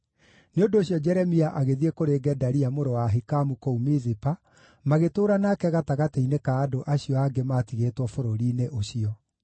Nĩ ũndũ ũcio Jeremia agĩthiĩ kũrĩ Gedalia, mũrũ wa Ahikamu kũu Mizipa, magĩtũũra nake gatagatĩ-inĩ ka andũ acio angĩ maatigĩtwo bũrũri-inĩ ũcio.